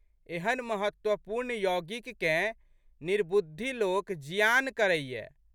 एहन महत्वपूर्ण यौगिककेँ निर्बुद्धि लोक जियान करैए।